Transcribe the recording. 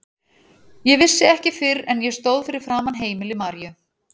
Ég vissi ekki fyrr en ég stóð fyrir framan heimili Maríu.